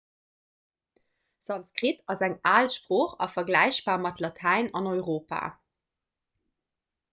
sanskrit ass eng al sprooch a vergläichbar mat latäin an europa